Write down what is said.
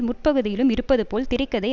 முற்பகுதியிலும் இருப்பதுபோல் திரை கதை